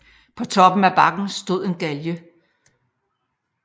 På toppen af bakken stod en galge